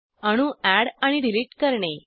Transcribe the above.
अणू अॅड आणि डिलिट करणे